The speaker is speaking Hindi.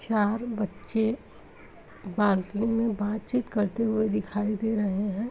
चार बच्चें में बातचीत करते हुए दिखाई दे रहे हैं।